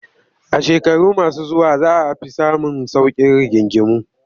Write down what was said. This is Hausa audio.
A shekaru masu zuwa za a fi samun sauƙin rigingimu